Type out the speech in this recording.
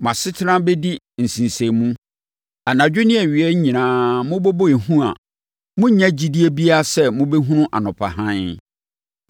Mo asetena bɛdi nsensɛnmu. Anadwo ne awia nyinaa mobɛbɔ ehu a morennya gyidie biara sɛ mobɛhunu anɔpa hann.